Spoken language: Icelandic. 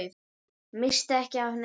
Missti ekki af neinu.